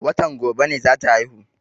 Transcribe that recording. Watan gobe ne za ta haihu.